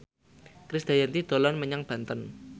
Krisdayanti dolan menyang Banten